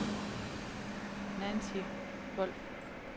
Nancy Wolff